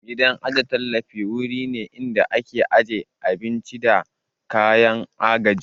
Gidan ajiye tallafi wuri ne inda ake ajiyan abinci da kayan agaji